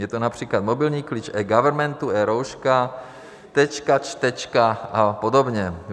Je to například mobilní klíč eGovernmentu, eRouška, Tečka, Čtečka a podobně.